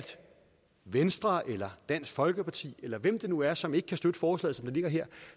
venstre eller dansk folkeparti eller hvem det nu er som ikke kan støtte forslaget som det ligger her